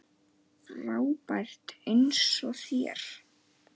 Frábær eins og þér.